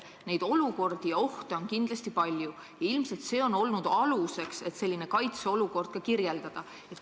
Neid ohte on kindlasti palju ja ilmselt see on olnud aluseks, et ka sellist kaitseolukorda kirjeldada.